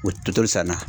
O totoli san na